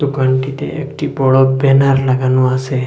দোকানটিতে একটি বড়ো ব্যানার লাগানো আসে।